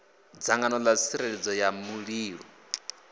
dzangano ḽa tsireledzo ya mulilo